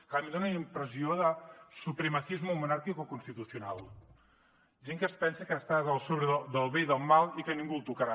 clar a mi en dona una impressió de supremacismo monárquico constitucional gent que es pensa que està per sobre del bé i del mal i que ningú el tocarà